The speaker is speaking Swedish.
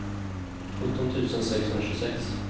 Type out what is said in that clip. sjutton tusen sexhundratjugosex